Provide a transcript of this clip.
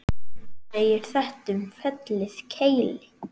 segir þetta um fellið Keili